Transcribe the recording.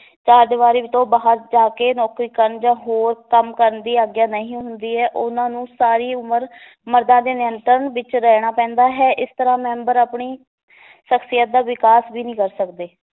ਚਾਰ ਦੀਵਾਰੀ ਤੋਂ ਬਾਹਰ ਜਾ ਕੇ ਨੌਕਰੀ ਕਰਨ ਜਾਂ ਹੋਰ ਕੰਮ ਕਰਨ ਦੀ ਆਗਿਆ ਨਹੀਂ ਹੁੰਦੀ ਹੈ, ਉਹਨਾਂ ਨੂੰ ਸਾਰੀ ਉਮਰ ਮਰਦਾਂ ਦੇ ਨਿਯੰਤਰਣ ਵਿਚ ਰਹਿਣਾ ਪੈਂਦਾ ਹੈ ਇਸ ਤਰਾਂ ਮੈਂਬਰ ਆਪਣੀ ਸਖ਼ਸੀਅਤ ਦਾ ਵਿਕਾਸ ਵੀ ਨੀ ਕਰ ਸਕਦੇ